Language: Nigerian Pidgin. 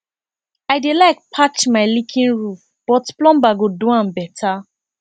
i dey like patch my leaking roof but plumber go do am better